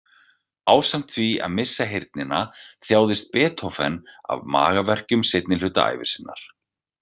Ásamt því að missa heyrnina, þjáðist Beethoven af magaverkjum seinni hluta ævi sinnar.